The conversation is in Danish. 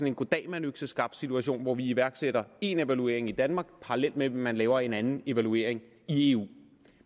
en goddag mand økseskaft situation hvor vi iværksætter én evaluering i danmark parallelt med at man laver en anden evaluering i eu